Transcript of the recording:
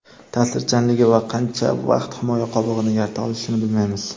ta’sirchanligi va qancha vaqt himoya qobig‘ini yarata olishini bilmaymiz.